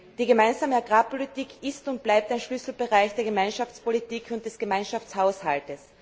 Die gemeinsame Agrarpolitik ist und bleibt ein Schlüsselbereich der Gemeinschaftspolitik und des Gemeinschaftshaushalts.